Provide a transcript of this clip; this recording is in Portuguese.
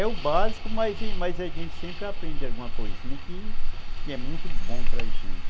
É o básico, mas mas a gente sempre aprende alguma coisinha que que é muito bom para a gente.